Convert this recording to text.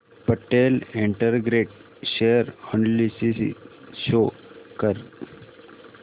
Patel integrate share analysis show कर